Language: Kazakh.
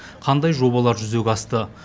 қандай жобалар жүзеге асты